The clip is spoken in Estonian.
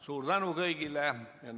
Suur tänu kõigile!